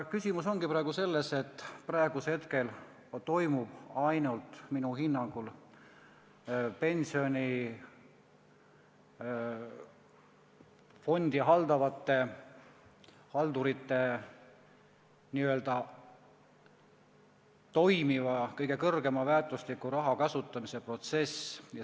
Küsimus ongi praegu selles, et praegusel hetkel toimub minu hinnangul ainult pensionifondi haldavate haldurite seisukohalt n-ö toimiva kõige kõrgema väärtusega raha kasutamise protsess.